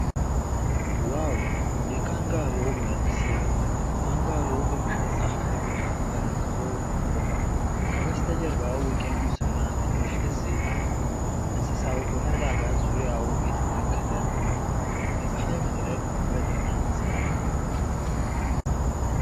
ዋው! የካንጋሮው መልክ ሲያምር! ካንጋሮው በምሽት ፀሐይ ብርሃን ተነክቶ ቆሟል። ከበስተጀርባ ውቅያኖስና ትንሽ ደሴት አለ። እንስሳው በመረጋጋት ዙሪያውን እየተመለከተ ነው። የፀሐይ መጥለቅ ውበትና ሰላም።